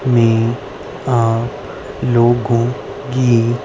में आ लोगों की--